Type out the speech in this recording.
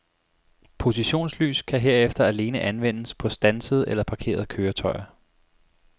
Positionslys kan herefter alene anvendes på standsede eller parkerede køretøjer.